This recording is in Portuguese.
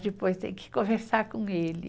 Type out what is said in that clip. Depois tem que conversar com ele.